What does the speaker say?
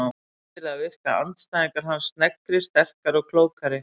Skyndilega virka andstæðingar hans sneggri, sterkari og klókari.